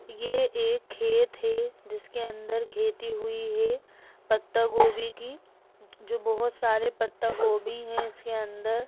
ये एक खेत है जिसके अंदर खेती हुई है पत्तागोभी की जो बहुत सारे पत्तागोभी है इसके अंदर